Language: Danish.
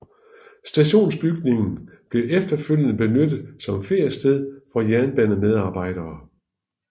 Stationsbygningen blev efterfølgende benyttet som feriested for jernbanemedarbejdere